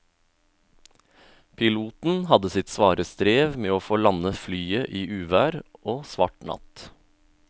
Piloten hadde sitt svare strev med å få landet flyet i uvær og svart natt.